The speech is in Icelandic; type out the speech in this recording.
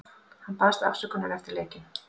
Hann baðst afsökunar eftir leikinn.